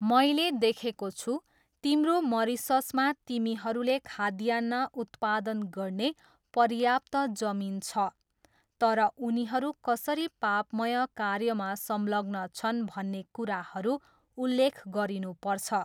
मैले देखेको छु, तिम्रो मरिससमा तिमीहरूले खाद्यान्न उत्पादन गर्ने पर्याप्त जमिन छ तर उनीहरू कसरी पापमय कार्यमा संलग्न छन् भन्ने कुराहरू उल्लेख गरिनुपर्छ।